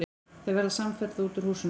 Þau verða samferða út úr húsinu.